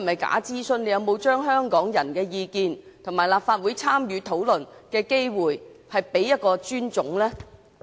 局長有否對香港人的意見及立法會參與討論的機會予以尊重呢？